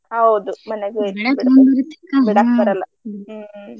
ಹೌದು ಮನ್ಯಾಗ ಹ್ಮ್.